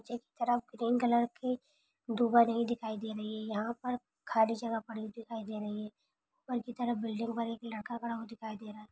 एक तरफ green colour की दिखाई दे रही है यहाँ पर खाली जगह पड़ी दिखाई दे रही है ऊपर की तरफ बिल्डिंग पर एक लड़का खड़ा हुआ दिखाई दे रहा है।